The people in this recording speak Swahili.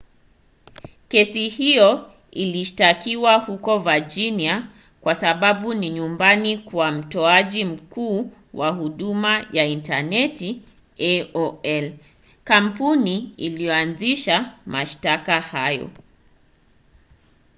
kesi hiyo ilishtakiwa huko virginia kwa sababu ni nyumbani kwa mtoaji mkuu wa huduma ya intaneti aol kampuni iliyoanzisha mashtaka hayo